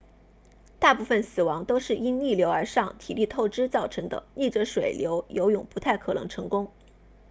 大部分死亡都是因逆流而上体力透支造成的逆着水流游泳不太可能成功